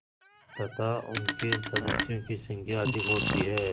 तथा उनके सदस्यों की संख्या अधिक होती है